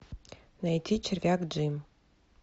найти червяк джим